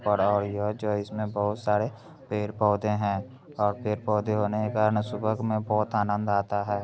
और इसमें बहोत सारे पेड़-पौधे हैं और पेड़-पौधे होने का ना सुबह में बहोत आनंद आता है।